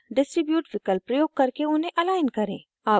align and distribute विकल्प प्रयोग करके उन्हें अलाइन करें